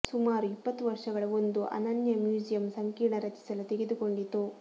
ಸುಮಾರು ಇಪ್ಪತ್ತು ವರ್ಷಗಳ ಒಂದು ಅನನ್ಯ ಮ್ಯೂಸಿಯಂ ಸಂಕೀರ್ಣ ರಚಿಸಲು ತೆಗೆದುಕೊಂಡಿತು